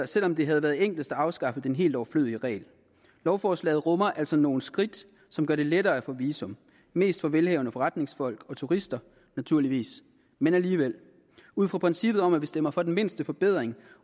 selv om det havde været enklest at afskaffe den helt overflødige regel lovforslaget rummer altså nogle skridt som gør det lettere at få visum mest for velhavende forretningsfolk og turister naturligvis men alligevel ud fra princippet om at vi stemmer for den mindste forbedring